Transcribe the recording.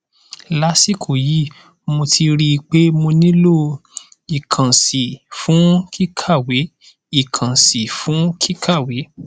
lásìkò yìí mo ti rí i pé mo nílò ìkànsí fún kíkàwé ìkànsí fún kíkàwé